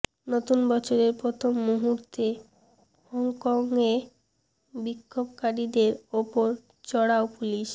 নতুন বছরের প্রথম মুহূর্তে হংকংয়ে বিক্ষোভকারীদের ওপর চড়াও পুলিশ